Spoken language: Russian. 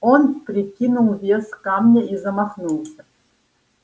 он прикинул вес камня и замахнулся